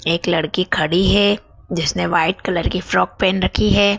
एक लड़की खड़ी है जिसने व्हाइट कलर की फ्रॉक पहन रखी है।